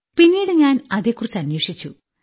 പിന്നീട് ഞാൻ അതിനെക്കുറിച്ച് അന്വേഷിച്ചു